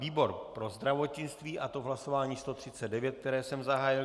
Výbor pro zdravotnictví, a to v hlasování 139, které jsem zahájil.